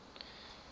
women philosophers